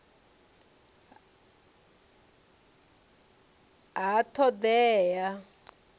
ha t hod ea ya